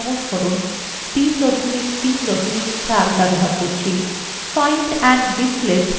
find and replace বোতামটি সম্পর্কে জানা যাক